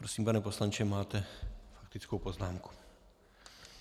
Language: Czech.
Prosím, pane poslanče, máte faktickou poznámku.